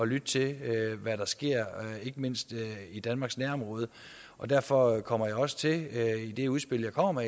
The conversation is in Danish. lytte til hvad der sker ikke mindst i danmarks nærområde og derfor kommer jeg også til i det udspil jeg kommer